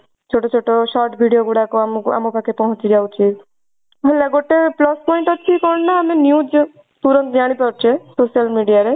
ଛୋଟୋ ଛୋଟୋ short video ଗୁଡାକ ଆମକୁ ଆମ ପାଖେ ପହଞ୍ଚି ଯାଉଛି ହେଲା ଗୋଟେ plus point ଅଛି କଣ ନା ଆମେ news ପୁରା ଜାଣି ପରୁଛେ social media ରେ